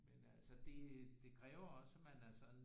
Men altså det det kræver også at man er sådan